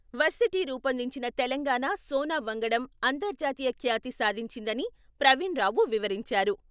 Varsity రూపొందించిన తెలంగాణా సోనా వంగడం అంతర్జాతీయ ఖ్యాతి సాధించిందని ప్రవీణ్ రావు వివరించారు.